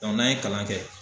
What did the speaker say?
n'an ye kalan kɛ